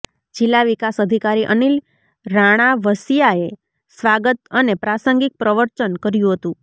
જિલ્લા વિકાસ અધિકારી અનિલ રાણાવસિયાએ સ્વાગત અને પ્રાસંગિક પ્રવચન કર્યુ હતું